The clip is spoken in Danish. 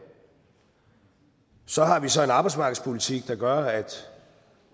så har vi så en arbejdsmarkedspolitik der gør at